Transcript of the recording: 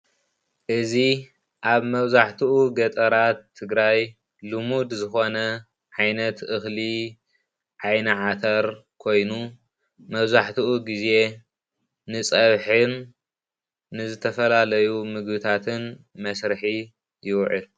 እዚ ሓረስታይ ዝዘርኦም ዝራእቲ ጥረ ኮይኑ ንፀብሒ ዝጠቅም ዓይኒዓተረ ይበሃል።